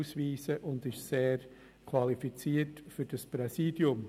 Zudem gibt es einen leeren Wahlzettel für das BaK-Präsidium.